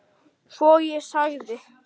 Svo ég þagði.